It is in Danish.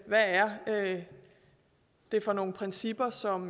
hvad er det for nogle principper som